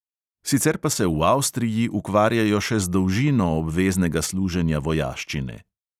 Sicer pa se v avstriji ukvarjajo še z dolžino obveznega služenja vojaščine.